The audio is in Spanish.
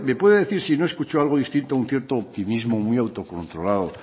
puede decir si no escuchó algo distinto a un cierto optimismo muy autocontrolado